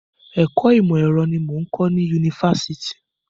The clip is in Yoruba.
Ẹ̀kọ́ ìmọ̀ ẹ̀rọ ni mò ń kọ ní Yunifásitì.